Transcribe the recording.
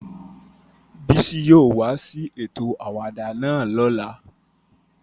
Bisi yóò wa si eto awada náa lola.